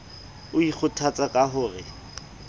o ikgothatsa ka ho re